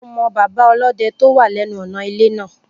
Mo mọ bàbá ọlọ́dẹ tó wà lẹ́nu ọ̀nà ilé náà